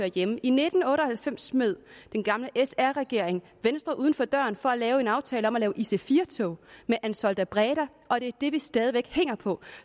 hjemme i nitten otte og halvfems smed den gamle sr regering venstre uden for døren for at lave en aftale om ic4 tog med ansaldobreda og det er det vi stadig væk hænger på